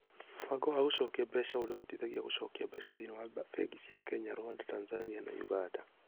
Mũbango wa gũcokia mbeca ũrĩa ũhotithagia gũcokia mbeca thĩinĩ wa bengi cia Kenya, Rwanda, Tanzania, na Uganda.